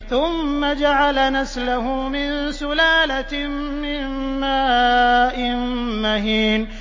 ثُمَّ جَعَلَ نَسْلَهُ مِن سُلَالَةٍ مِّن مَّاءٍ مَّهِينٍ